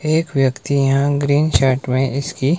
एक व्यक्ति यहाँ ग्रीन शर्ट में इसकी--